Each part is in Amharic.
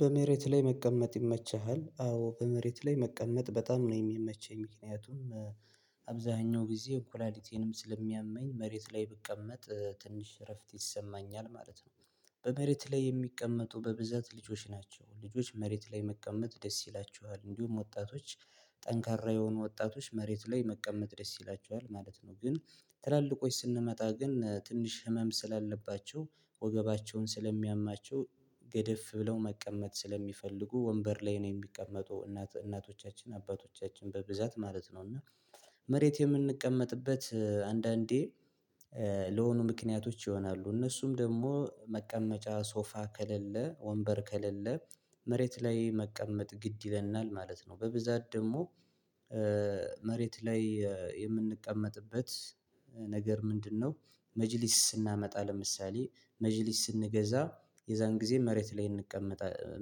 በመሬት ላይ መቀመጥ ይመቸሃል? አዎ በመሬት ላይ መቀመጥ በጣም ነው የሚመቸኝ ምክንያቱም ጊዜ ኮላሊቲንም ስለሚያመኝ መሬት ላይ ብቀመጥ ትንሽ እረፍት ይሰማኛል ማለት ነው። በመሬት ላይ የሚቀመጡ በብዛት ልጆች ናቸው ልጆች መሬት ላይ መቀመጥ ደስ ይላችኋል እንዲሁም ወጣቶች ጠንካራ የሆኑ ወጣቶች መሬት ላይ መቀመጥ ደስ ይላችኋል ማለት ነው። ግን ትላልቆች ስንመጣ ግን ትንሽ ህመም ስላለባቸው ወገባቸውን ስለሚያማቸው ገደፍ ብለው መቀመጥ ስለሚፈልጉ ወንበር ላይ ነው የሚቀመጡ እናቶቻችን አባቶቻችን በብዛት ማለት ነው እና መሬት የምንቀመጥበት አንዳንዴ ለሆኑ ምክንያቶች ይሆናሉ እነሱም ደግሞ መቀመጫ ሶፋ ከሌለ ወንበር ከሌለ መሬት ላይ መቀመጥ ግድ ይለናል ማለት ነው። በብዛት ደግሞ መሬት ላይ የምንቀመጥበት ነገር ምንድነው? መጅሊስ ስናመጣ ለምሳሌ መጅሊስ ስንገዛ የዛን ጊዜ መሬት ላይ እንቀመጣለን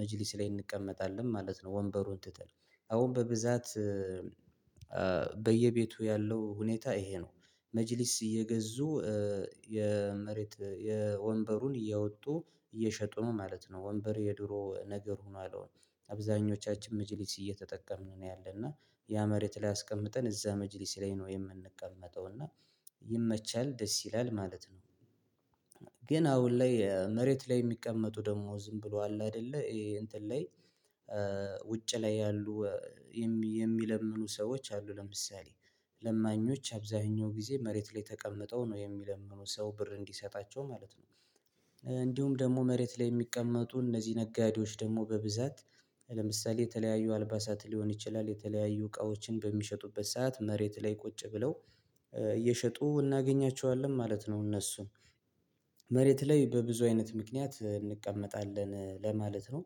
መጅሊስ ላይ እንቀመጣለን ማለት ነው። ወንበሩን ትተን አሁን በብዛት በየቤቱ ያለው ሁኔታ ይሄ ነው መጅሊስ እየገዙ የመሬት የወንበሩን እየወጡ እየሸጡ ነው ማለት ነው። ወንበር የድሮ ነገር ሁኗል አሁን አብዛኞቻችን መጪሊት እየተጠቀምን ነው ያለና ያ መሬት ላይ አስቀምጠን እዛ መጅሊስ ላይ ነው የምንቀመጠው እና ይመቻል ደስ ይላል ማለት ነው። ግን አሁን ላይ መሬት ላይ የሚቀመጡ ደግሞ ዝም ብሎ አለ አይደለ እንትን ላይ ውጭ ላይ ያሉ የሚለምኑ ሰዎች አሉ። ለምሳሌ አብዛኛው ጊዜ መሬት ላይ ተቀምጠው ነው የሚለምነው ሰው ብር እንዲሰጣቸው ማለት ነው። እንዲሁም ደግሞ መሬት ላይ የሚቀመጡ እነዚህ ነጋዴዎች ደግሞ በብዛት ለምሳሌ የተለያዩ አልባሳት ሊሆን ይችላል የተለያዩ እቃዎችን በሚሸጡበት ሰዓት መሬት ላይ ቁጭ ብለው እየሸጡ እናገኛቸዋለን ማለት ነው። እነሱን መሬት ላይ በብዙ አይነት ምክንያት እንቀመጣለን ለማለት ነው።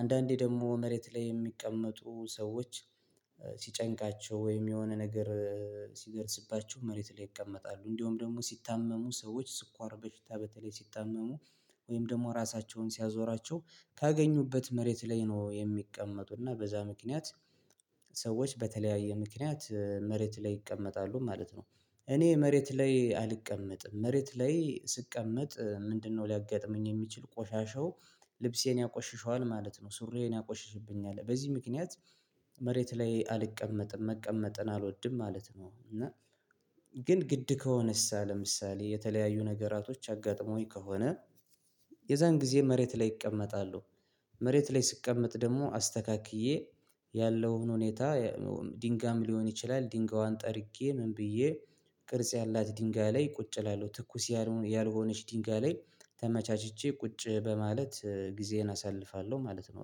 አንዳንዴ ደግሞ መሬት ላይ የሚቀመጡ ሰዎች ሲጨንቃቸው ወይም የሆነ ነገር ሲደርስባቸው መሬት ላይ ይቀመጣሉ እንደውም ደግሞ ሲታመሙ ሰዎች ስኳር በሽታ በተለይ ሲታመሙ ወይም ደግሞ ራሳቸውን ሲያዞራቸው ካገኙበት መሬት ላይ ነው የሚቀመጡና በዛ ምክንያት ሰዎች በተለያየ ምክንያት መሬት ላይ ይቀመጣሉ ማለት ነው። እኔ መሬት ላይ አልቀመጥም መሬት ላይ ስቀመጥ ምንድነው ሊያጋጥመኝ የሚችል ቆሻሻው ልብሴን ያቆሽሽዋል ማለት ነው። ሱሪዬን ያቆሽሽብኛል በዚህ ምክንያት መሬት ላይ አልቀመጥም መቀመጥን አልወድም ማለት ነው። እና ግን ግድ ከሆነስ ለምሳሌ የተለያዩ ነገራቶች አጋጥሞኝ ከሆነ ጊዜ መሬት ላይ እቀመጣሉ መሬት ላይ ስቀመጥ ደግሞ አስተካክዬ ያለውን ሁኔታ ድንጋም ሊሆን ይችላል። ድንጋዋን ጠርቄ ምን ብዬ ቅርጽ ያላት ድንጋይ ላይ ቁጭ እላለሁ ትኩስ ያልሆነች ድንጋይ ላይ ተመቻችቼ ቁጭ በማለት ጊዜዬን አሳልፋለሁ ማለት ነው።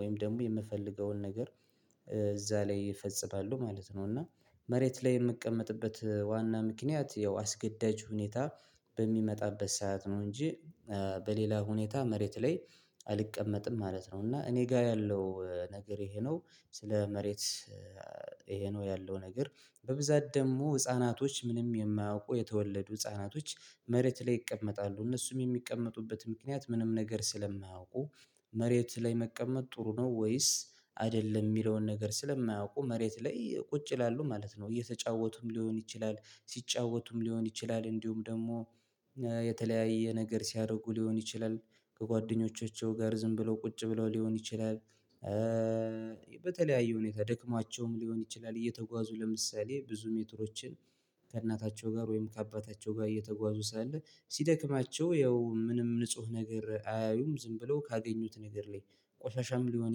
ወይም ደግሞ የምፈልገውን ነገር እዛ ላይ እፈጽማለሁ ማለት ነው። እና መሬት ላይ የምቀመጥበት ዋና ምክንያት ያው አስገዳጅ ሁኔታ በሚመጣበት ሰዓት ነው እንጂ በሌላ ሁኔታ መሬት ላይ አልቀመጥም ማለት ነው። እና እኔ ጋር ያለው ነገር ይሄ ነው ስለ መሬት ይሄ ነው ያለው ነገር በብዛት ደግሞ ህፃናቶች ምንም የማያውቁ የተወለዱ ህፃናቶች መሬት ላይ ይቀመጣሉ እነሱም የሚቀመጡበት ምክንያት ምንም ነገር ስለማያውቁ መሬት ላይ መቀመጥ ጥሩ ነው። ወይስ አይደለም የሚለውን ነገር ስለማያውቁ መሬት ላይ ቁጭ ይላሉ ማለት ነው እየተጫወቱም ሊሆን ይችላል ሲጫወቱም ሊሆን ይችላል እንዲሁም ደግሞ የተለያየ ነገር ሲያደርጉ ሊሆን ይችላል። ከጓደኞቻቸው ጋር ዝም ብለው ቁጭ ብለው ሊሆን ይችላል በተለያዩ ሁኔታ ደክሟቸውም ሊሆን ይችላል እየተጓዙ ለምሳሌ ብዙ ሜትሮችን ከእናታቸው ጋር ወይም ከአባታቸው ጋር እየተጓዙ ስላለ ሲደክማቸው ያው ምንም ንጹህ ነገር አያዩም ዝም ብለው ካገኙት ነገር ላይ ቆሻሻም ሊሆን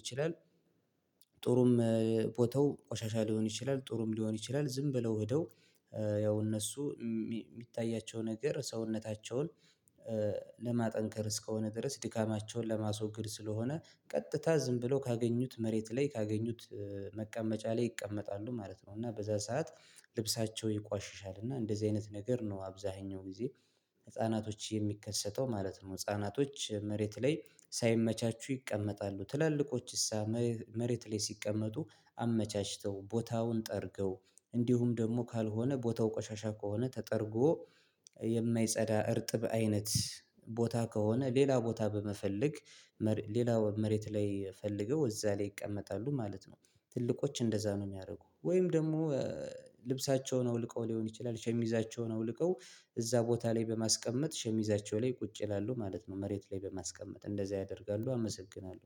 ይችላል። ጥሩም ቦተው ቆሻሻ ሊሆን ይችላል ጥሩም ሊሆን ይችላል ዝም ብለው ሄደው ያው እነሱ የሚታያቸው ነገር ሰውነታቸውን ለማጠንከር እስከሆነ ድረስ ድካማቸውን ለማስወገድ ስለሆነ ቀጥታ ዝም ብለው ካገኙት መሬት ላይ ካገኙት መቀመጫ ላይ ይቀመጣሉ ማለት ነው። እና በዛ ሰዓት ልብሳቸው ይቋሽሻል እና እንደዚህ አይነት ነገር ነው አብዛኛው ጊዜ ህፃናቶች የሚከሰተው ማለት ነው። ህፃናቶች መሬት ላይ ሳይመቻቹ ይቀመጣሉ። ትላልቆችስ መሬት ላይ ሲቀመጡ አመቻችተው ቦታውን ጠርገው እንዲሁም ደግሞ ካልሆነ ቦታው ቆሻሻ ከሆነ ተጠርጎ የማይጸዳ እርጥብ አይነት ቦታ ከሆነ ሌላ ቦታ በመፈለግ ሌላ መሬት ላይ ፈልገው እዛ ላይ ይቀመጣሉ ማለት ነው። ትልቆች እንደዛ ነው የሚያደርጉት ወይም ደግሞ ልብሳቸውን አውልቀው ሊሆን ይችላል ሸሚዛቸውን አውልቀው እዛ ቦታ ላይ በማስቀመጥ ሸሚዛቸው ላይ ቁጭ ይላሉ ማለት ነው። መሬት ላይ በማስቀመጥ እንደዛ ያደርጋሉ። አመሰግናለሁ